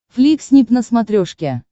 фликснип на смотрешке